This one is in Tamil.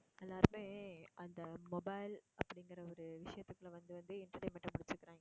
எல்லாருமே அந்த mobile அப்படிங்குற ஒரு விஷயத்துக்குள்ள வந்து வந்து entertainment ஆ புடுச்சுக்குறாங்க.